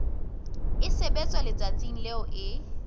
e sebetswa letsatsing leo e